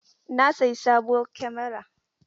Na sayi sabuwar kamara.